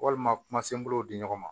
Walima kumasenbaaw di ɲɔgɔn ma